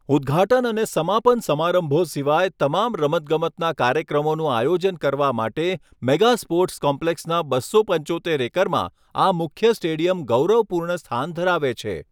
ઉદ્ઘાટન અને સમાપન સમારંભો સિવાય તમામ રમતગમતના કાર્યક્રમોનું આયોજન કરવા માટે, મેગા સ્પોર્ટ્સ કોમ્પ્લેક્સના બસો પંચોતેર એકરમાં આ મુખ્ય સ્ટેડિયમ ગૌરવપૂર્ણ સ્થાન ધરાવે છે.